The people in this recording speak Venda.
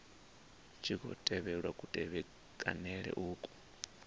tshi khou tevhelwa kutevhekanele uku